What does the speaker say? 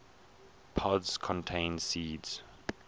pods contain seeds